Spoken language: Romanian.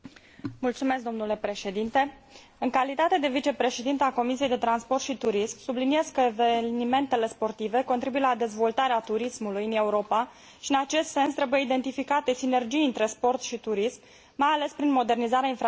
În calitate de vicepreședintă a Comisiei de transport și turism, subliniez că evenimentele sportive contribuie la dezvoltarea turismului în Europa, și în acest sens trebuie identificate sinergii între sport și turism, mai ales prin modernizarea infrastructurilor colective.